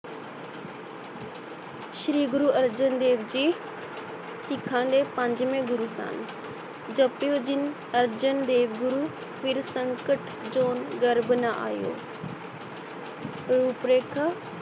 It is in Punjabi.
ਸ੍ਰੀ ਗੁਰੁ ਅਰਜਨ ਦੇਵ ਜੀ ਸਿੱਖਾਂ ਦੇ ਪੰਜਵੇਂ ਗੁਰੂ ਸਨ ਜਪਿਓ ਜਿਨ ਅਰਜਨ ਦੇਵ ਗੁਰੂ ਫਿਰ ਸੰਕਟ ਜੋਨ ਗਰਭ ਨਾ ਆਇਓ ਰੂਪ ਰੇਖਾ